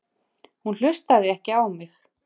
Hún hlustaði ekki á mig.